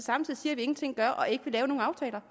samtidig siger at vi ingenting gør og ikke vil lave nogen aftaler